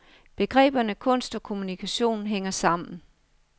Begreberne kunst og kommunikation hænger sammen.